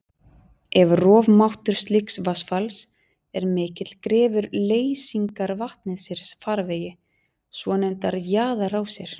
Ef rofmáttur slíks vatnsfalls er mikill grefur leysingarvatnið sér farvegi, svonefndar jaðarrásir.